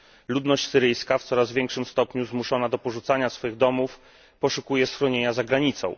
Ludność syryjska, w coraz większym stopniu zmuszona do porzucania swych domów, poszukuje schronienia za granicą.